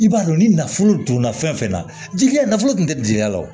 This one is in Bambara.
I b'a dɔn ni nafolo donna fɛn fɛn na jigiya nafolo tun tɛ jigiya la o